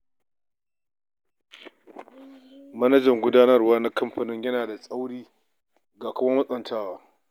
Manajan gudanarwa na kamfanin yana da tsauri ga kuma matsantawa.